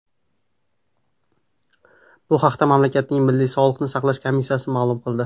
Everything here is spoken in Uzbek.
Bu haqda mamlakatning Milliy sog‘liqni saqlash komissiyasi ma’lum qildi .